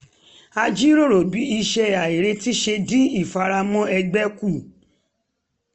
a jíròrò bí iṣẹ́ àìrètí ṣe dín ìfaramọ́ ẹgbẹ́ kù